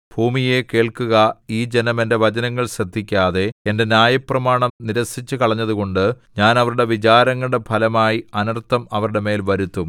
ഭൂമിയേ കേൾക്കുക ഈ ജനം എന്റെ വചനങ്ങൾ ശ്രദ്ധിക്കാതെ എന്റെ ന്യായപ്രമാണം നിരസിച്ചുകളഞ്ഞതുകൊണ്ട് ഞാൻ അവരുടെ വിചാരങ്ങളുടെ ഫലമായി അനർത്ഥം അവരുടെ മേൽ വരുത്തും